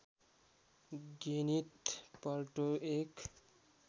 Gwyneth Paltrow एक